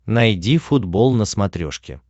найди футбол на смотрешке